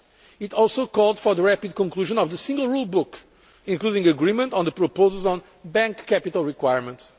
It also called for a rapid conclusion of the single rule book, including agreement on the proposals on bank capital requirements.